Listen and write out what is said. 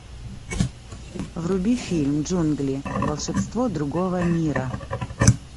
вруби фильм джунгли волшебство другого мира